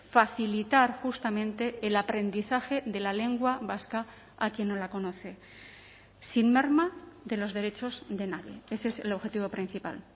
facilitar justamente el aprendizaje de la lengua vasca a quien no la conoce sin merma de los derechos de nadie ese es el objetivo principal